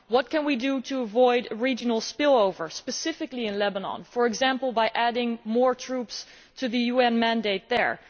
What can we do to avoid regional spillovers, specifically in Lebanon, for example by adding more troops to the UN mandate there?